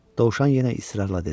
dovşan yenə israrla dedi.